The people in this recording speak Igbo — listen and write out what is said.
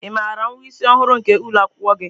Ị maara nwa isi ọhụrụ nke ụlọ akwụkwọ gi?